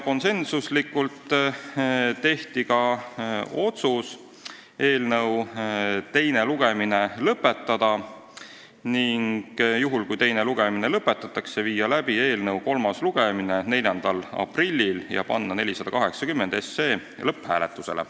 Konsensuslikult tehti ka otsus eelnõu teine lugemine lõpetada ning juhul, kui teine lugemine lõpetatakse, viia eelnõu kolmas lugemine läbi 4. aprillil ja panna eelnõu 480 lõpphääletusele.